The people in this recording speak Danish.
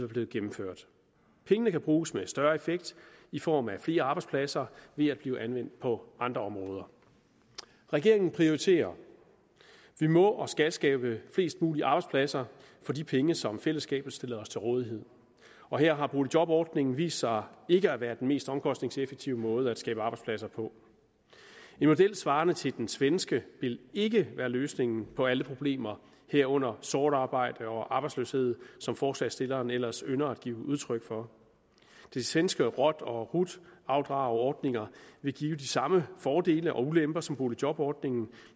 blevet gennemført pengene kan bruges med større effekt i form af flere arbejdspladser ved at blive anvendt på andre områder regeringen prioriterer vi må og skal skabe flest mulige arbejdspladser for de penge som fællesskabet stiller os til rådighed og her har boligjobordningen vist sig ikke at være den mest omkostningseffektive måde at skabe arbejdspladser på en model svarende til den svenske vil ikke være løsningen på alle problemer herunder sort arbejde og arbejdsløshed som forslagsstillerne ellers ynder at give udtryk for de svenske rot og rut avdrag ordninger vil give de samme fordele og ulemper som boligjobordningen